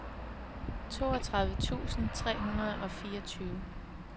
toogtredive tusind tre hundrede og fireogtyve